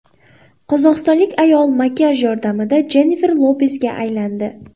Qozog‘istonlik ayol makiyaj yordamida Jennifer Lopesga aylandi .